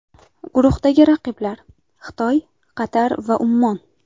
Guruhdagi raqiblar: Xitoy, Qatar va Ummon.